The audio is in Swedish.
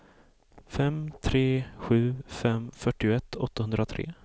fem tre sju fem fyrtioett åttahundratre